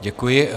Děkuji.